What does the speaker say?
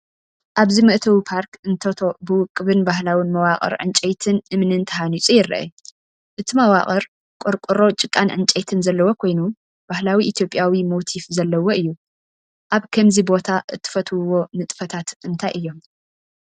ኣብዚ መእተዊ ፓርክ እንቶቶ ብውቁብን ባህላውን መዋቕር ዕንጨይትን እምንን ተሃኒፁ ይርአ። እቲ መዋቕር ቆርቆሮ ጭቃን ዕንጨይትን ዘለዎ ኮይኑ ባህላዊ ኢትዮጵያዊ ሞቲፍ ዘለዎ እዩ። ኣብ ካምዚ ቦታ እትፈትውዎ ንጥፈታት እንታይ እዮም?